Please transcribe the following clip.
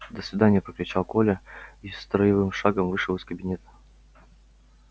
до свидания прокричал коля и строевым шагом вышел из кабинета